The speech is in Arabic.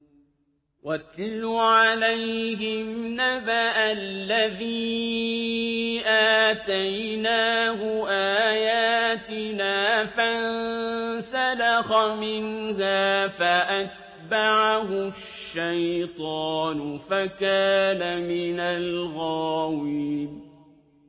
وَاتْلُ عَلَيْهِمْ نَبَأَ الَّذِي آتَيْنَاهُ آيَاتِنَا فَانسَلَخَ مِنْهَا فَأَتْبَعَهُ الشَّيْطَانُ فَكَانَ مِنَ الْغَاوِينَ